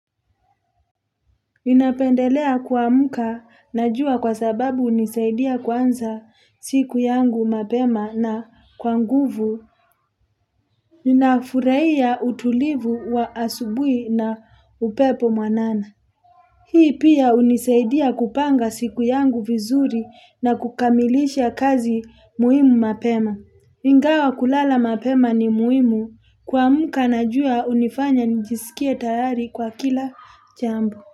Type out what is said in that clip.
Ninapendelea kwamuka na jua kwa sababu unisaidia kwanza siku yangu mapema na kwa nguvu. Ninafuraia utulivu wa asubui na upepo mwanana. Hii pia unisaidia kupanga siku yangu vizuri na kukamilisha kazi muhimu mapema. Ingawa kulala mapema ni muhimu kwamuka najua unifanya njisikie tayari kwa kila jambo.